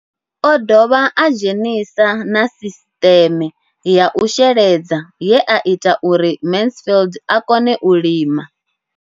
O ḓo dovha a dzhenisa na sisiṱeme ya u sheledza ye ya ita uri Mansfied a kone u lima.